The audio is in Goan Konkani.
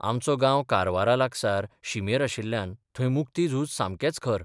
आमचो गांव कारवारा लागसार शिमेर आशिल्ल्यान थंय मुक्ती झूज सामकेंच खर.